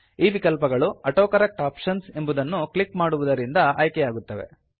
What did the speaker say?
ಈ ವಿಕಲ್ಪಗಳು autocorrect options ಎಂಬುದನ್ನು ಕ್ಲಿಕ್ ಮಾಡುವುದರಿಂದ ಆಯ್ಕೆಯಾಗುತ್ತವೆ